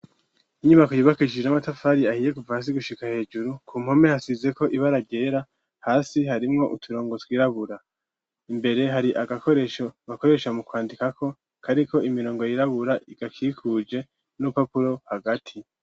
Inyubako yubakishije n'amatafari ahiye kuva hasi gushika hejuru ,ku mpome hasizeko ibara ryera hasi harimwo uturongo twirabura imbere hari agakoresho bakoresha mu kwandikako kariko imirongo yirabura igakikuje n'urupapuro hagati.